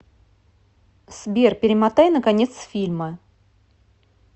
сбер перемотай на конец фильма